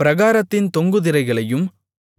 பிராகாரத்தின் தொங்கு திரைகளையும்